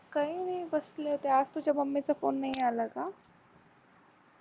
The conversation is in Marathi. काही नाही बसले होते आज तुझ्या मम्मीचा फोन नाही आला का?